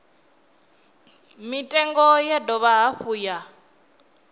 mitengo ya dovha hafhu ya